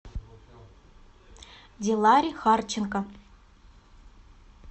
диларе харченко